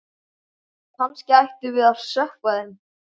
Kannski ættum við að sökkva þeim.